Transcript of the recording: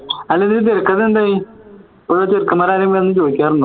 അല്ല ഇതിൻറെ തിരക്കഥ എന്തായി ചെറുക്കന്മാർ ആരെങ്കിലും വന്നു ചോദിച്ചായിരുന്